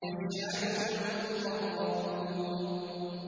يَشْهَدُهُ الْمُقَرَّبُونَ